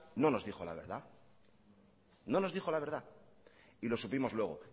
no nos dijo la verdad no nos dijo la verdad y lo supimos luego